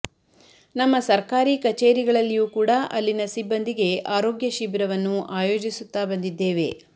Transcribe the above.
ನಮ್ಮ ಸರ್ಕಾರಿ ಕಚೇರಿಗಳಲ್ಲಿಯೂ ಕೂಡ ಅಲ್ಲಿನ ಸಿಬ್ಬಂದಿಗೆ ಆರೋಗ್ಯ ಶಿಬಿರವನ್ನು ಆಯೋಜಿಸುತ್ತಾ ಬಂದಿದ್ದೇವೆ